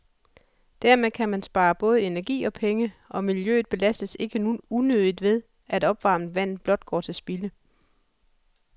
Dermed kan man spare både energi og penge, og miljøet belastes ikke unødigt ved, at opvarmet vand blot går til spilde.